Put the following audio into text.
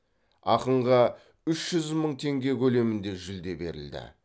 ақынға үш жүз мың теңге көлемінде жүлде берілді